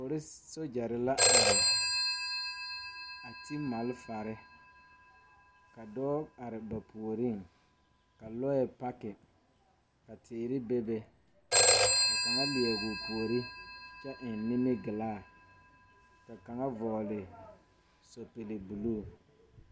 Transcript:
Poris sogyɛre la are a ti malfare ka dɔɔ are ba puoriŋ ka lɔɛ paki ka teere bebe ka kaŋa leɛgoo puore kyɛ eŋ nimigilaa ka kaŋa vɔgle sɛpige bluu.